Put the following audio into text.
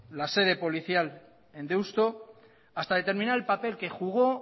la sede policial en deusto hasta determinar el papel que jugó